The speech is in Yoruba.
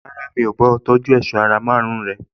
Rárá, mi ò bá a tọjú èṣọ́ ara márùn-ún rẹ̀